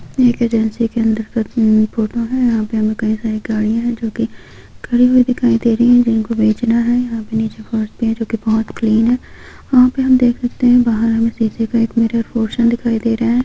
ये एक एजन्सि के अंदर का फोटो है यहां पर हमें कई सारी गड़िया है जो कि खड़ी हुई दिखाई दे रही है। जिनको बेचना है यहां पर नीचे फर्श भी है जो कि काफी क्लीन है वहां पर हम देख सकते हैं बाहर एक मीडियम पोर्शन दिखाई दे रहा है